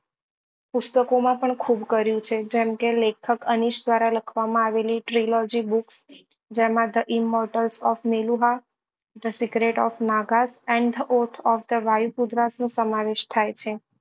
પુસ્તકો માં પણ ખુબ કર્યું છે જેમ કે લેખક અનીશ દ્વારા લખવા માં આવેલી નો સમાવેશ થાય છે